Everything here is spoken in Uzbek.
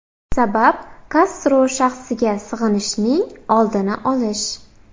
Sabab Kastro shaxsiga sig‘inishning oldini olish.